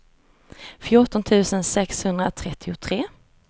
fjorton tusen sexhundratrettiotre